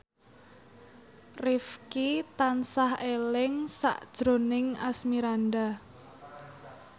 Rifqi tansah eling sakjroning Asmirandah